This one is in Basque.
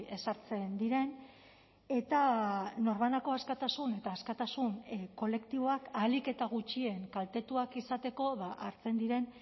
ezartzen diren eta norbanako askatasun eta askatasun kolektiboak ahalik eta gutxien kaltetuak izateko hartzen diren